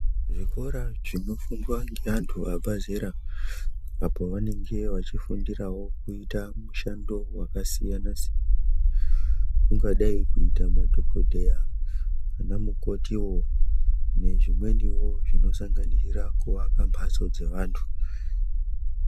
Zvikora zvinofundwa ne antu vabve zera, apo pavanenge vechifundira kuita mishando wakasiyana siyana, kungadai kuita ma dhokoteya ana mukotiwo nezvimweniwo zvinosanganisira kuvakambatso dzevantu.